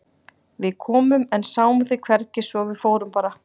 Við komum en sáum þig hvergi svo að við fórum bara.